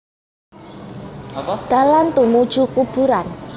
Dalan tumuju kuburan